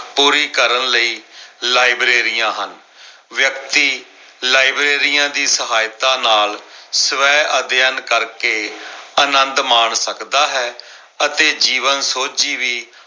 ਪੂਰੀ ਕਰਨ ਲਈ ਲਾਇਬ੍ਰੇਰੀਆਂ ਹਨ। ਵਿਅਕਤੀ ਲਾਇਬ੍ਰੇਰੀਆਂ ਦੀ ਸਹਾਇਤਾ ਨਾਲ ਸਵੈ ਅਧਿਐਨ ਕਰਕੇ ਆਨੰਦ ਮਾਣ ਸਕਦਾ ਹੈ ਅਤੇ ਜੀਵਨ ਸੋਝੀ ਵੀ ਪੂਰੀ ਕਰਨ ਲਈ ਲਾਇਬ੍ਰੇਰੀਆਂ ਹਨ।